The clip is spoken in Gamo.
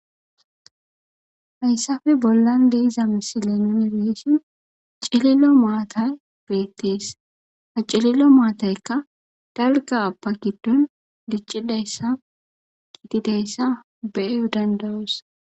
Hayssafe bollan de7iza misile nuun be7ishin cililo maatay beettees. Ha cilillo maataykka dalgaappa giddOn diccidayssa gididayssa be7O danda7oos.